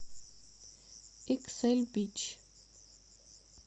иксэль бич